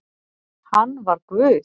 Hann var Guð